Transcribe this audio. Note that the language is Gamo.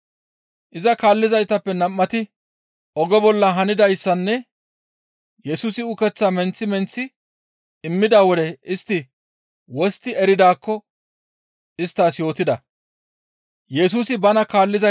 Iza kaallizaytappe nam7ati oge bolla hanidayssanne Yesusi ukeththaa menththi menththi immida wode istti wostti eridaakko isttas yootida.